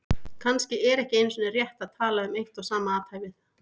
Kannski er ekki einu sinni rétt að tala um eitt og sama athæfið.